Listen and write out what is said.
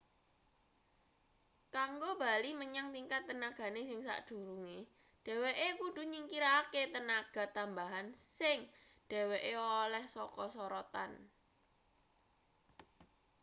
kanggo bali menyang tingkat tenagane sing sakdurunge dhweke kudu nyingkirake tenaga tambahan sing dheweke oleh saka sorotan